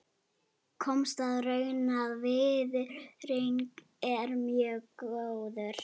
Komst að raun um að viðurinn er mjög góður.